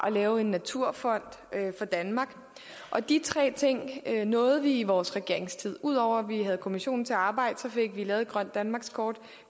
lave en naturfond for danmark og de tre ting nåede vi i vores regeringstid ud over at vi havde kommissionen til at arbejde fik vi lavet et grønt danmarkskort